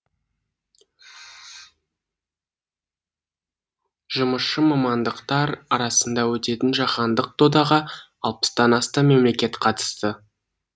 жұмысшы мамандықтар арасында өтетін жаһандық додаға алпыстан астам мемлекет қатысады